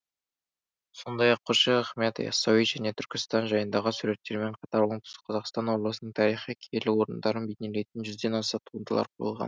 сондай ақ қожа ахмет ясауи және түркістан жайындағы суреттермен қатар оңтүстік қазақстан облысының тарихи киелі орындарын бейнелейтін жүзден аса туындылар қойылған